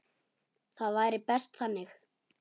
Það væri best þannig.